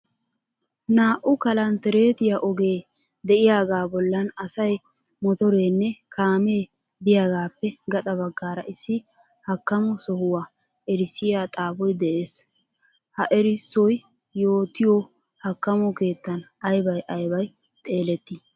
Naa"u kalntterettiya ogee de"iyaagaa bollan asay, motoreenne kaamee biyagaappe gaxa baggaara issi hakkamo sohuwa erissiya xaafoy de'ees. Ha erissoy yootiyo hakkamo keettan aybay aybay xeelettii?